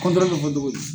bɛ fɔ cogo di